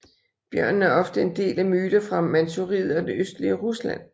Bjørnen er ofte en del af myter fra Manchuriet og det østlige Rusland